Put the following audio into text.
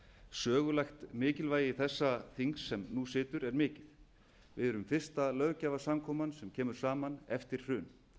sögulegt mikilvægi þessa þings sem nú situr er mikið við erum fyrsta löggjafarsamkoman sem kemur saman eftir hrun